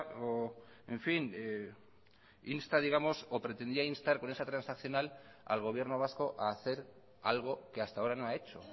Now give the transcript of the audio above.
o pretendía instar con esa transaccional al gobierno vasco a hacer algo que hasta ahora no ha hecho